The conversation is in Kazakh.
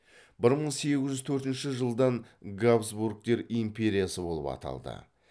бір мың сегіз жүз төртінші жылдан габсбургтер империясы болып аталды